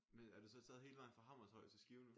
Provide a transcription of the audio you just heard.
Men er du så taget hele vejen fra Hammershøj til Skive nu?